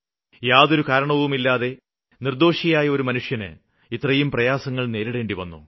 യാതൊരു കാരണവുമില്ലാതെ നിര്ദ്ദോഷിയായ ഒരു മനുഷ്യന് ഇത്രയും പ്രയാസങ്ങള് നേരിടേണ്ടിവന്നു